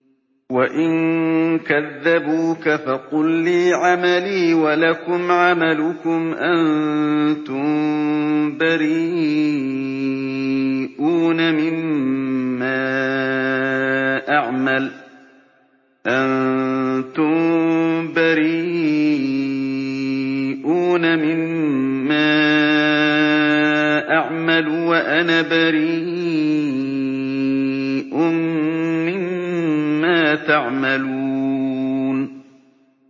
وَإِن كَذَّبُوكَ فَقُل لِّي عَمَلِي وَلَكُمْ عَمَلُكُمْ ۖ أَنتُم بَرِيئُونَ مِمَّا أَعْمَلُ وَأَنَا بَرِيءٌ مِّمَّا تَعْمَلُونَ